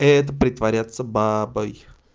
это притворяться бабой